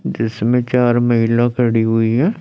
जिसमें चार महिला खड़ी हुई है।